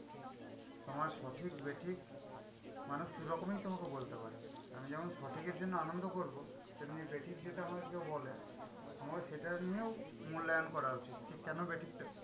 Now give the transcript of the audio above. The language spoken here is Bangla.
তোমার সঠিক বেঠিক মানুষ দু'রকমই তোমাকে বলতে পারে। আমি যেমন সঠিকের জন্য আনন্দ করবো, তেমনি বেঠিক যেটা আমাকে কেও বলে আমার সেটা নিয়েও মূল্যায়ন করা উচিত যে, কেন বেঠিকটা কি?